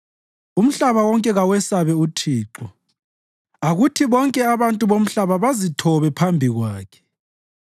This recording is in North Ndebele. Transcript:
Umhlaba wonke kawesabe uThixo; akuthi bonke abantu bomhlaba bazithobe phambi Kwakhe.